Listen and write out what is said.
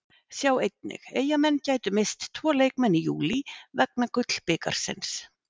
Sjá einnig: Eyjamenn gætu misst tvo leikmenn í júlí vegna Gullbikarsins